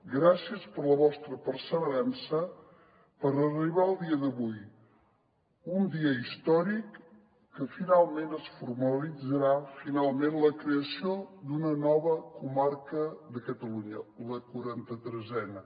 gràcies per la vostra perseverança per arribar al dia d’avui un dia històric en què finalment es formalitzarà la creació d’una nova comarca de catalunya la quaranta tresena